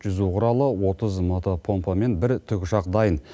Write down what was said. жүзу құралы отыз мото помпа мен бір тікұшақ дайын